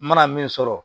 N mana min sɔrɔ